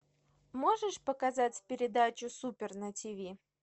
можешь показать передачу супер на тв